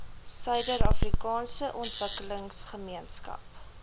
suider afrikaanse ontwikkelingsgemeenskap